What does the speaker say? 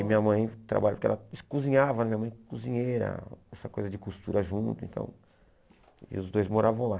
Aí minha mãe trabalhava, que ela cozinhava, minha mãe cozinheira, essa coisa de costura junto, então... E os dois moravam lá.